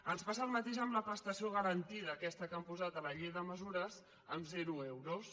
ens passa el mateix amb la prestació garantida aquesta que han posat a la llei de mesures amb zero euros